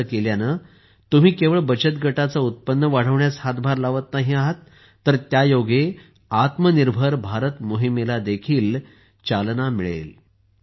असे केल्यानेतुम्ही केवळ बचत गटाचे उत्पन्न वाढवण्यास हातभार लावणार नाही तर त्यायोगेआत्मनिर्भर भारत मोहिमेला चालनाही मिळेल